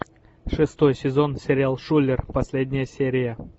шестой сезон сериал шулер последняя серия